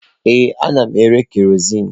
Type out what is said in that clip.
Ee, ana m ere kerọsinụ.